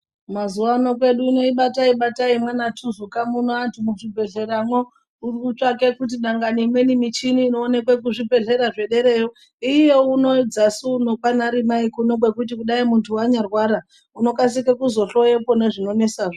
Mazuwa ano mwedu muno ibatai batai mwaanaThuzuka muno antu muzvibhedhleramwo muri kutsvakwe kuti pamweni michini inoonekwe muzvibhedhlera zvederayo iuye uno dzasi uno kwaanaRimai kwekuti kudai muntu wanyarwara unokasike kuzohloyepo zvinonesazvo.